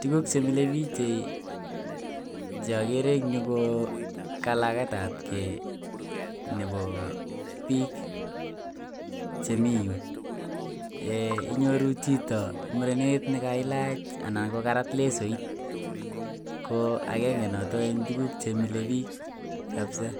tukuk chemile chei cheogere en yuu ko kalaketabgee nebo bik chemii yuu inyoru chito murenet nekailach anan ko karat lesoit ko agenge noton en tukuk chemile bik kabisa.